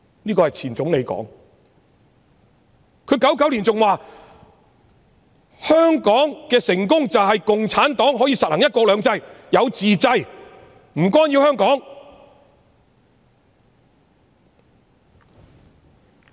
這是前總理說的，他在1999年還說香港的成功便是共產黨實行"一國兩制"、能夠自制、不干擾香港。